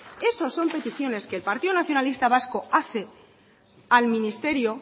eso son peticiones que el partido nacionalista vasco hace al ministerio